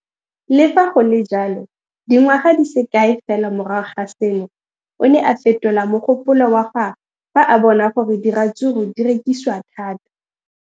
Le fa go le jalo, dingwaga di se kae fela morago ga seno, o ne a fetola mogopolo wa gagwe fa a bona gore diratsuru di rekisiwa thata.